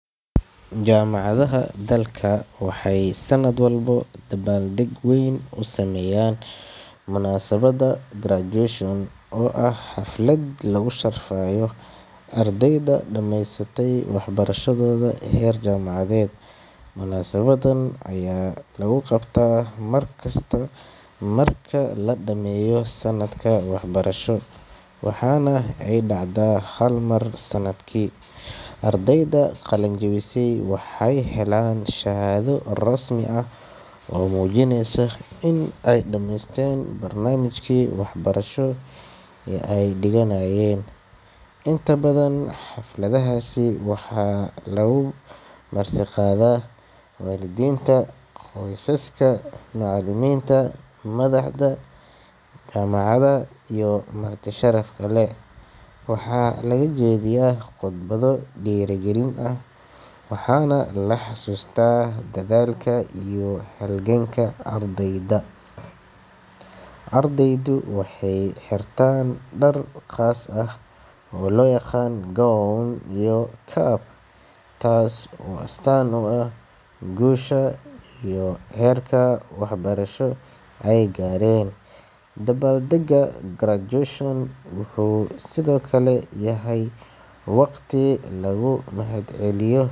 Jaamacadaha dalka waxay sanad walba dabaal-deg weyn u sameeyaan munaasabadda graduation-ka, oo ah xaflad lagu sharfayo ardayda dhamaysatay waxbarashadooda heer jaamacadeed. Munaasabaddan ayaa lagu qabtaa mar kasta oo la dhammeeyo sanad-waxbarasheed, waxayna dhacdaa hal mar sanadkii. Ardayda qalin-jabisay waxay helaan shahaado rasmi ah oo muujinaysa in ay dhammeeyeen barnaamijkii waxbarasho ee ay dhiganaayeen. Inta badan xafladahaasi waxaa lagu marti-qaadaa waalidiinta, qoysaska, macallimiinta, madaxda, iyo marti sharaf badan. Waxaa laga jeediyaa khudbado dhiirrigelin ah, waxaana la xasuustaa dadaalka iyo halganka ardayda. Ardaydu waxay xirtaan dhar gaar ah oo loo yaqaan[cs gownt[cs iyo caab, taasoo astaan u ah guusha iyo heerka waxbarasho ay gaareen. Wuxuu sidoo kale yahay waqti lagu mahad-celiyo.